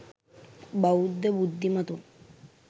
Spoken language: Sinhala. බෞද්ධ බුද්ධිමතුන්